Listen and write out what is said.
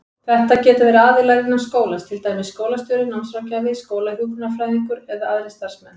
Þetta geta verið aðilar innan skólans, til dæmis skólastjóri, námsráðgjafi, skólahjúkrunarfræðingur eða aðrir starfsmenn.